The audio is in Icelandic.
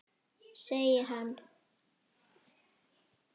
Segir hann.